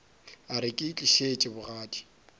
a re ke itlišitše bogadi